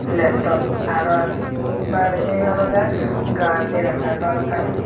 leptop araw baredi olode gaz dega jar balokkani.